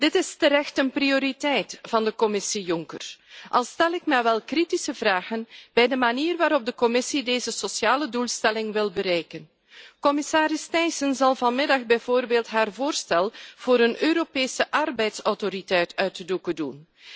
Dit is terecht een prioriteit van de Commissie Juncker, al stel ik me wel kritische vragen bij de manier waarop de Commissie deze sociale doelstelling wil bereiken. Commissaris Thyssen zal vanmiddag bijvoorbeeld haar voorstel voor een Europese arbeidsautoriteit uit de doeken doen.